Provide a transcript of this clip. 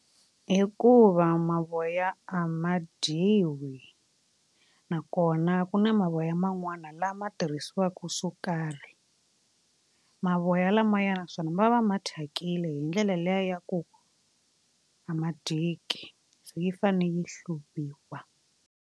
Hikuva mavoya a ma dyiwi nakona ku na mavoya man'wana lama tirhisiwaku swo karhi mavoya lamayani naswona ma va ma thyakile hi ndlela liya ya ku a ma dyeki se yi fane yi hluviwa.